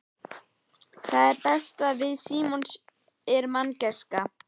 Það besta við Símon er manngæskan.